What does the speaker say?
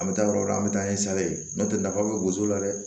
An bɛ taa yɔrɔ o yɔrɔ an bɛ taa ni sa ye n'o tɛ nafa bɛ gosi la dɛ